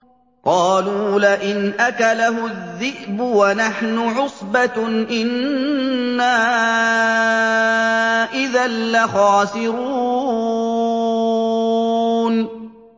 قَالُوا لَئِنْ أَكَلَهُ الذِّئْبُ وَنَحْنُ عُصْبَةٌ إِنَّا إِذًا لَّخَاسِرُونَ